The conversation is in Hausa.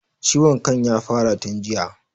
Ciwon kan ya fara tun jiya